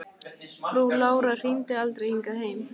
Frú Lára hringdi aldrei hingað heim.